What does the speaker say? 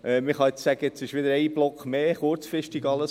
Jetzt kann man wieder sagen, dass ein Block mehr kurzfristig kam.